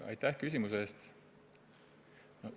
Aitäh küsimus eest!